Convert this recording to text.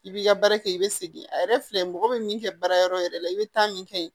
I b'i ka baara kɛ i bɛ segin a yɛrɛ filɛ mɔgɔ bɛ min kɛ baarayɔrɔ yɛrɛ la i bɛ taa min kɛ ye